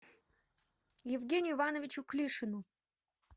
евгению ивановичу клишину